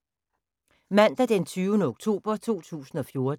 Mandag d. 20. oktober 2014